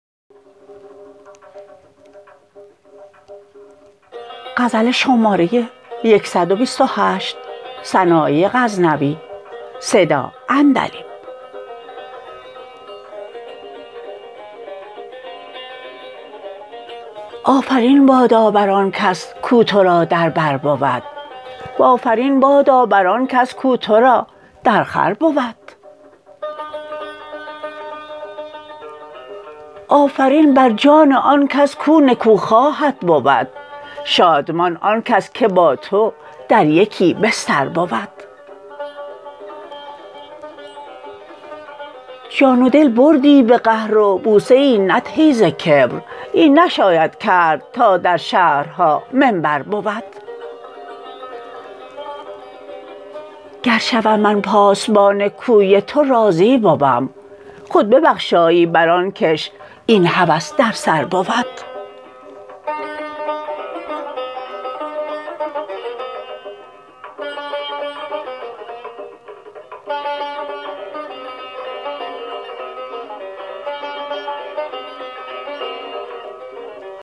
آفرین بادا بر آن کس کو ترا در بر بود و آفرین بادا بر آن کس کو ترا در خور بود آفرین بر جان آن کس کو نکو خواهت بود شادمان آن کس که با تو در یکی بستر بود جان و دل بردی به قهر و بوسه ای ندهی ز کبر این نشاید کرد تا در شهرها منبر بود گر شوم من پاسبان کوی تو راضی بوم خود ببخشایی بر آن کش این هوس درسر بود